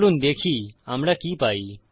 চলুন দেখি আমরা কি পাই